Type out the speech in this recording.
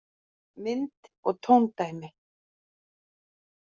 Mynd og tóndæmi: